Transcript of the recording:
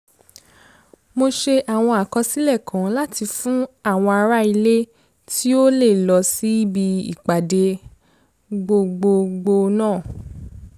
mo ṣe àwọn àkọsílẹ̀ kan láti fún àwọn ará ilé tí ò lè lọ síbi ìpàdé gbogbogbò náà